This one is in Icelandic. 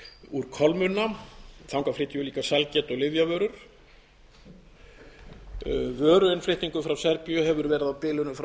úr kolmunna þangað flytjum við líka sælgæti og lyfjavörur vöruinnflutningur frá serbíu hefur verið á bilinu frá